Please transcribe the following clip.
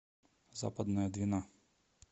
западная двина